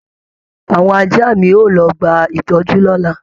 Àwọn ajá mi yóò lọ gba ìtọ́jú lọ́la